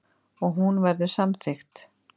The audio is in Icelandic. Og hún verður samþykkt.